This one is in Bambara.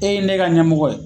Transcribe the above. E ye ne ka ɲɛmɔgɔ ye.